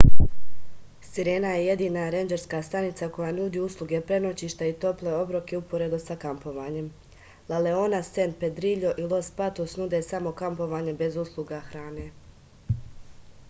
sirena je jedina rendžerska stanica koja nudi usluge prenoćišta i tople obroke uporedo sa kampovanjem la leona san pedriljo i los patos nude samo kampovanje bez usluga hrane